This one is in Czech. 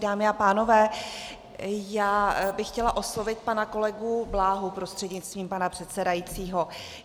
Dámy a pánové, já bych chtěla oslovit pana kolegu Bláhu prostřednictvím pana předsedajícího.